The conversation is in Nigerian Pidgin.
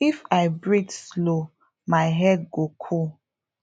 if i breathe slow my head go cool